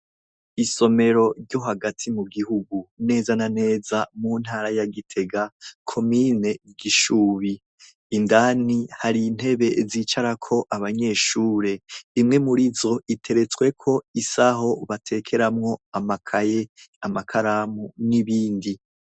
Isomero ryo hagati mu gihugu neza naneza mu ntara ya Gitega komine Gishubi indani hari intebe zicara ko abanyeshure imwe muri zo iteretsweko isaho batekeramwo amakaye, amakaramu n'ibindi.